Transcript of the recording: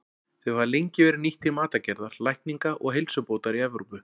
Þau hafa lengi verið nýtt til matargerðar, lækninga og heilsubótar í Evrópu.